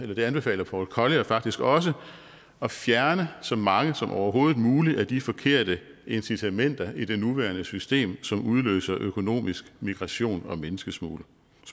det anbefaler paul collier faktisk også at fjerne så mange som overhovedet muligt af de forkerte incitamenter i det nuværende system som udløser økonomisk migration og menneskesmugling